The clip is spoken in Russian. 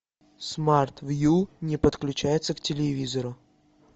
смарт вью не подключается к телевизору